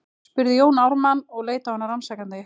spurði Jón Ármann og leit á hana rannsakandi.